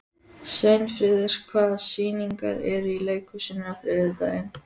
Sveinfríður, hvaða sýningar eru í leikhúsinu á þriðjudaginn?